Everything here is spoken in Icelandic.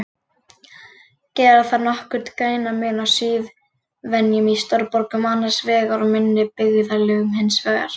Gera þarf nokkurn greinarmun á siðvenjum í stórborgum annars vegar og minni byggðarlögum hins vegar.